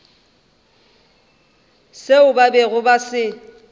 seo ba bego ba se